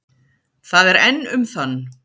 Það er enn um þann